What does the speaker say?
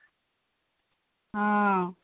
ହଁ